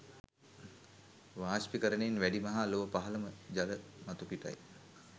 වාෂ්පීකරණයෙන් වැඩිම හා ලොව පහළම ජල මතුපිටයි.